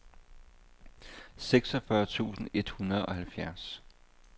seksogfyrre tusind et hundrede og halvfjerds